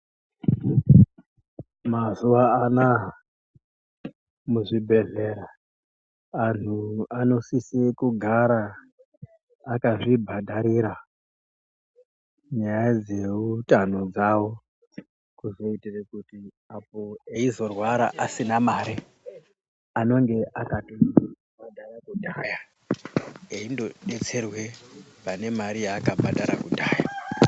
Mazuvaanaya, muzvibhedlera ,anhu anosise kugara akazvibhadharira nyaya dzehutano dzavo, kuzoitire kuti eyizorwara asina mari anenge akatoyibhadhara kudhaya, eyinodetserwe panemari yaakabhadhara kudhaya .